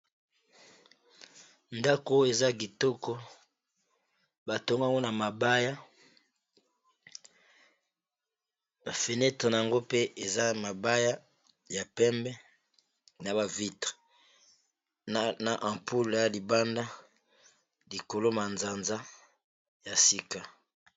Ndako oyo eza kitoko batongago na mabaya bfenete na yango pe eza mabaya ya pembe na bavitre na ampoul ya libanda likolo ma nzanza ya sika.